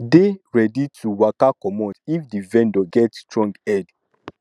dey ready to waka comot if di vendor get strong head